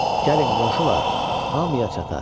Gəlin, qonşular, hamıya çatar.